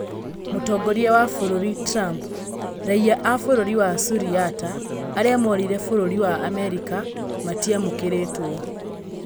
Mũtongoria wa bũrũri Trump: Raiya a bũrũri wa Suriata arĩa morĩire Bũrũri wa Amerika matiamũkĩrĩtwo